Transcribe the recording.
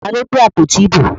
Ta ló gbé àpótí ìbò?